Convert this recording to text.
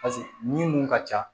ni mun ka ca